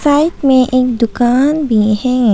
Right में एक दुकान भी है।